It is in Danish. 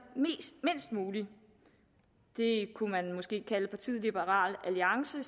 mindst muligt det er partiet liberal alliance